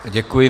Děkuji.